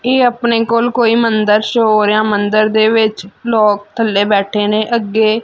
ਇਹ ਆਪਣੇ ਕੋਲ ਕੋਈ ਮੰਦਰ ਸ਼ੋਅ ਹੋ ਰਿਹਾ ਮੰਦਰ ਦੇ ਵਿੱਚ ਲੋਕ ਥੱਲੇ ਬੈਠੇ ਨੇ। ਅੱਗੇ --